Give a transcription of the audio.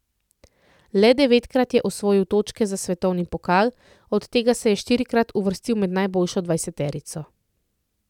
Le devetkrat je osvojil točke za svetovni pokal, od tega se je štirikrat uvrstil med najboljšo dvajseterico.